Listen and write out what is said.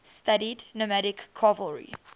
studied nomadic cavalry